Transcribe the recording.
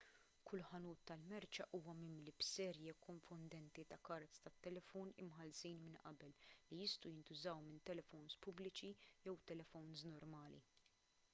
kull ħanut tal-merċa huwa mimli b'serje konfondenti ta' kards tat-telefown imħallsin minn qabel li jistgħu jintużaw minn telefowns pubbliċi jew telefowns normali